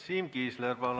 Siim Kiisler, palun!